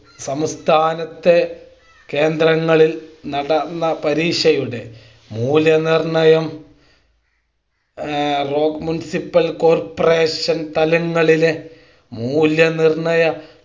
സംസ്ഥാനത്തെ കേന്ദ്രങ്ങളിൽ നടന്ന പരീക്ഷയുടെ മൂല്യനിർണ്ണയം ആഹ് മുൻസിപ്പൽ കോർപ്പറേഷൻ തലങ്ങളിലെ മൂല്യനിർണ്ണയ